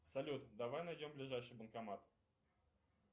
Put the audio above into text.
салют давай найдем ближайший банкомат